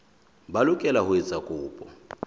ba lokela ho etsa kopo